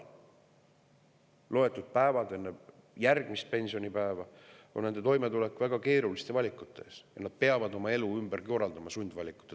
Loetud päevad enne järgmist pensionipäeva on nende toimetulek raske, nad on väga keeruliste valikute ees ja peavad ehk oma elu ümber korraldama.